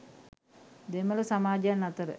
දෙමළ සමාජයන් අතර